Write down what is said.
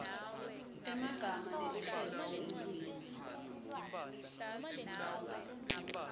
emagama neluhlelo lwelulwimi